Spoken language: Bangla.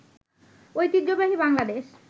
ঐতিহ্যবাহী বাংলাদেশ